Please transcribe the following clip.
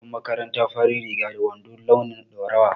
Muna da tufan makaranta farin riga da wando launin ɗaurawa